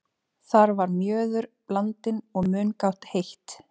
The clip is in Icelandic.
Þar var mjöður blandinn og mungát heitt.